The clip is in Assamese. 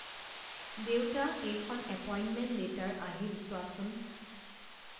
দেউতা এইখন এপইণ্টমেণ্ট লেটাৰ আহিল চোৱাচোন